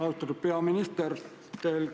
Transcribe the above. Austatud peaminister!